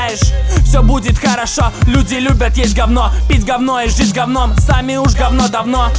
все будет хорошо люди любят есть г из головной офис гавном сами уже давно